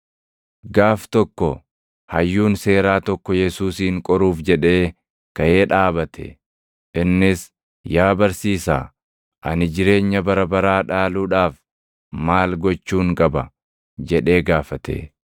Gaaf tokko, hayyuun seeraa tokko Yesuusin qoruuf jedhee kaʼee dhaabate. Innis, “Yaa Barsiisaa, ani jireenya bara baraa dhaaluudhaaf maal gochuun qaba?” jedhee gaafate.